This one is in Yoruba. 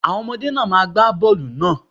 Àwọn ọmọdé náà má gba bọ́ọlù náà.